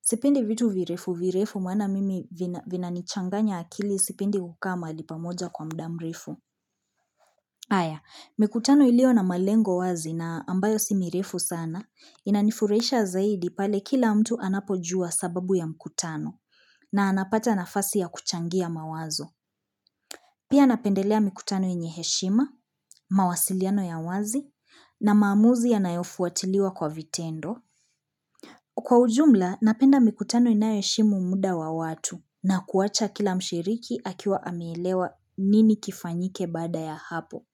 Sipendi vitu virefu virefu maana mimi vina nichanganya akili sipendi kukaa mahali pamoja kwa muda mrefu. Aya, mikutano ilio na malengo wazi na ambayo si mirefu sana, inanifuraisha zaidi pale kila mtu anapojua sababu ya mikutano na anapata nafasi ya kuchangia mawazo. Pia napendelea mikutano yenye heshima, mawasiliano ya wazi na maamuzi yanayofu watiliwa kwa vitendo. Kwa ujumla, napenda mikutano inayo heshimu muda wa watu na kuwacha kila mshiriki akiwa ameelewa nini kifanyike bada ya hapo.